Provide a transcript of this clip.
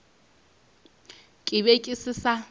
ke be ke se sa